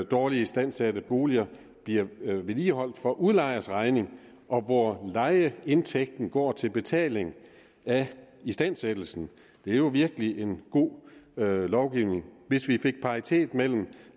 dårligt istandsætte boliger bliver vedligeholdt for udlejers regning og hvor lejeindtægten går til betaling af istandsættelsen det er jo virkelig en god lovgivning hvis vi fik paritet mellem